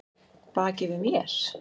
Baki við mér?